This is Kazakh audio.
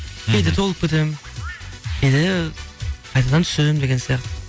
кейде толып кетемін кейде қайтадан түсемін деген сияқты